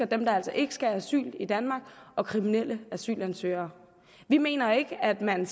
dem der ikke skal have asyl i danmark og kriminelle asylansøgere vi mener ikke at man